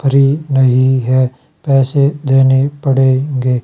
Free नहीं है पैसे देने पड़ेंगे।